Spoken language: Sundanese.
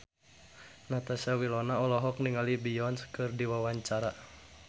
Natasha Wilona olohok ningali Beyonce keur diwawancara